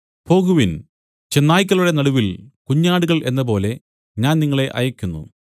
പോകുവിൻ ചെന്നായ്ക്കളുടെ നടുവിൽ കുഞ്ഞാടുകൾ എന്നപോലെ ഞാൻ നിങ്ങളെ അയയ്ക്കുന്നു